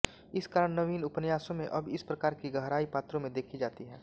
इस कारण नवीन उपन्यासों में अब इस प्रकार की गहराई पात्रों में देखी जाती है